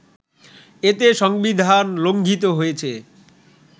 এতে সংবিধান লংঘিত হয়েছে